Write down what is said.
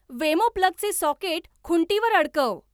वेमो प्लगचे सॉकेट खुंटीवर अडकव.